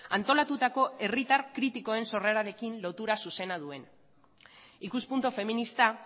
antolatutako herritar kritikoen sorrerarekin lotura zuzena duen ikuspuntu feminista